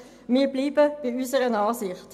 Wir bleiben bei unserer Ansicht.